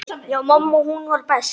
Já, mamma hún var best.